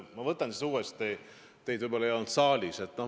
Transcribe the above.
Ma selgitan siis uuesti, teid võib-olla ei olnud enne saalis.